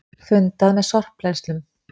Fundað með sorpbrennslum